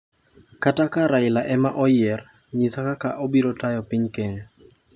Kata ka Raila ema oyier, nyisa kaka obiro tayo piny Kenya.